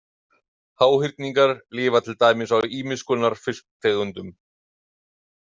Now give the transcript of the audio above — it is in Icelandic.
Háhyrningar lifa til dæmis á ýmiss konar fisktegundum.